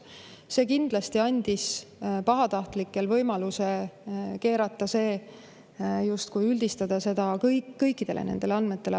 Aga see kindlasti andis pahatahtlikele võimaluse see üles keerata, üldistada seda kõikidele nendele andmetele.